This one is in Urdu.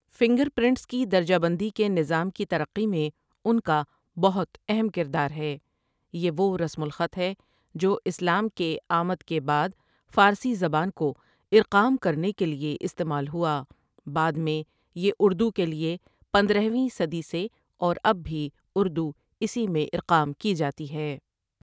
فنگرپرنٹس کی درجہ بندی کے نظام کی ترقی میں ان کا بہت اہم کردار ہے یہ وہ رسم الخط ہے جو اسلام کے آمد کے بعد فارسی زبان کو اِرقام کرنے کے لیے استعمال ہوا بعد میں یہ اردو کے لیے پندرہویں صدی سے اور اب بھی اردو اسی میں اِرقام کی جاتی ہے ۔